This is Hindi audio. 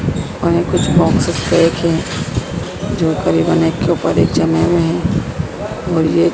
उन्होंने कुछ बॉक्सेस भी रखे हैं जो करीबन एक के ऊपर एक जमें हुए हैं और ये--